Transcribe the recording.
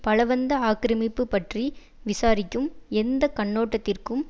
பலவந்த ஆக்கிரமிப்பு பற்றி விசாரிக்கும் எந்த கண்ணோட்டத்திற்கும்